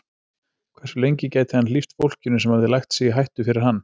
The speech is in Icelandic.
Hversu lengi gæti hann hlíft fólkinu sem hafði lagt sig í hættu fyrir hann?